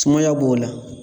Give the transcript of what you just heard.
Sumaya b'o la